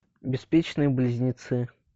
беспечные близнецы